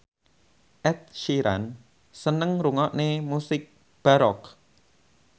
Ed Sheeran seneng ngrungokne musik baroque